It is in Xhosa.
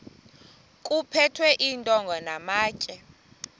kuphethwe iintonga namatye